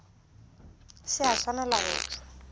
se a swanela go tšwa